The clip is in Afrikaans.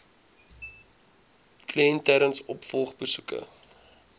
kliënt tydens opvolgbesoeke